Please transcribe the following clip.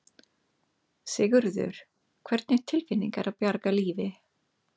Sigurður: Hvernig tilfinning er að bjarga lífi?